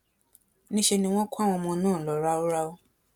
níṣẹ ni wọn kó àwọn ọmọ náà lọ ráúráú